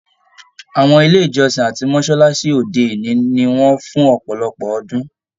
Àwọn ilé ìjọsìn àti mọsálásí òde òní ní wọn fún ọpọlọpọ ọdun.